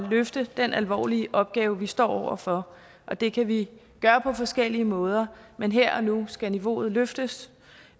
løfte den alvorlige opgave vi står over for og det kan vi gøre på forskellige måder men her og nu skal niveauet løftes